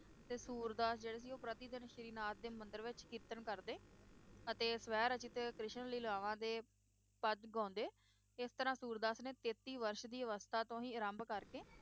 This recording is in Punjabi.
ਤੇ ਸੂਰਦਾਸ ਜਿਹੜੇ ਸੀ ਉਹ ਪ੍ਰਤੀਦਿਨ ਸ਼੍ਰੀ ਨਾਥ ਦੇ ਮੰਦਿਰ ਵਿਚ ਕੀਰਤਨ ਕਰਦੇ ਅਤੇ ਸਵੈ-ਰਚਿਤ ਕ੍ਰਿਸ਼ਨ ਲੀਲਾਵਾਂ ਦੇ ਪਦ ਗਾਉਂਦੇ ਇਸ ਤਰਾਂ ਸੂਰਦਾਸ ਨੇ ਤੇਤੀ ਵਰਸ਼ ਦੀ ਅਵਸਥਾ ਤੋਂ ਹੀ ਆਰੰਭ ਕਰਕੇ